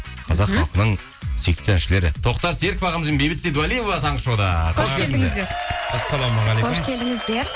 қазақ халқының сүйікті әншілері тоқтар серіков ағамыз бен бейбіт сейдуалиева таңғы шоуда қош келдіңіздер ассалаумағалейкум қош келдіңіздер